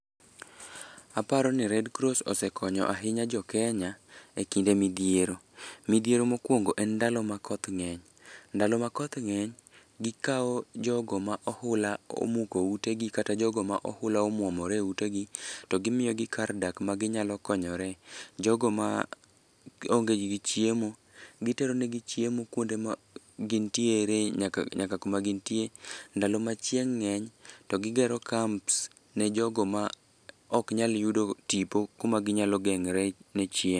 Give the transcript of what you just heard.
Aparo ni Redcross osekonyo ahinya jokenya e kinde midhiero. Midhiero mokwongo, en ndalo ma koth ngény. Ndalo ma koth ngény, gikawo jogo ma ohula omuko ute gi, kata jogo ma ohula omwomore e utegi, to gimiyogi kar dak ma ginyalo konyore. Jogo ma onge gi gi chiemo, giteronegi chiemo kuonde ma gintiere, nyaka, nyaka kuma gintie. Ndalo ma chieng' ngény, to gigero camps ne jogo ma oknyal yudo tipo, kuma ginyalo geng're ne chieng'.